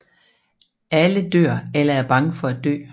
Alle dør eller er bange for at dø